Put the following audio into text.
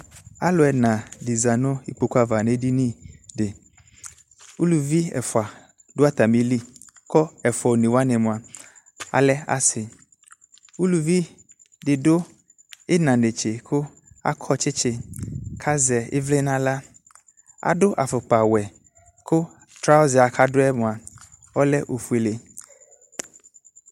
Allu ɛna de za no ikpoku ava no esini de Uluvi ɛfua do atame li ko ɛfua one wane moa alɛ ase Uluvi de do ina netse ko akɔ tsetse kazɛ evle no ahla Ado afokpawɛ ko trauza kadoɛ moa ɔlɛ ofuele